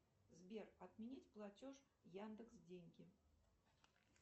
сбер отменить платеж яндекс деньги